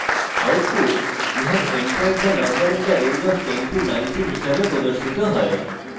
output you have entered the number in the range of 1019 হিসাবে প্রদর্শিত হয়েছে